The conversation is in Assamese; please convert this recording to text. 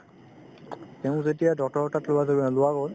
তেওঁক যেতিয়া doctor ৰৰ তাত থোৱা গ'ল